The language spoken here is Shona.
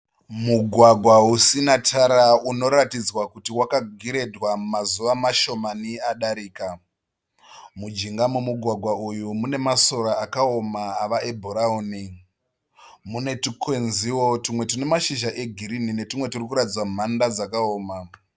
Mugwagwa usina tara unoratidzwa kuti wakagiredhwa mazuva mashomani adarika. Mujinga memugwagwa uyu mune masora akaoma ava ebhurauni. Mune twukwenziwo twumwe twune mashizha egirinhi netwumwe twuri kuratidza mhanda dzakaoma.